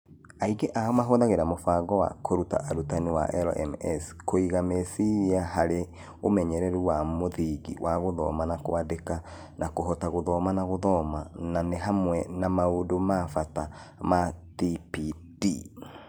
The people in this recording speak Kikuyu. Aingĩ ao mahũthagĩra mũbango wa kũruta arutani wa LMS, kũiga meciria harĩ ũmenyeru wa mũthingi wa gũthoma na kwandĩka na kũhota gũthoma na gũthoma, na nĩ hamwe na maũndũ ma bata ma TPD